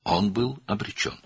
O, məhvə məhkum edilmişdi.